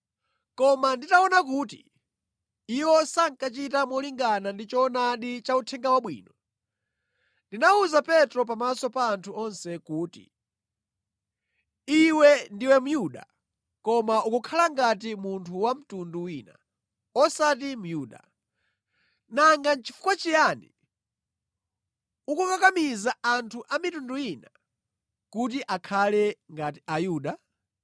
Koma nditaona kuti iwo sankachita molingana ndi choonadi cha Uthenga Wabwino, ndinawuza Petro pamaso pa anthu onse kuti, “Iwe ndiwe Myuda koma ukukhala ngati munthu wa mtundu wina, osati Myuda. Nanga nʼchifukwa chiyani ukukakamiza anthu a mitundu ina kuti akhale ngati Ayuda?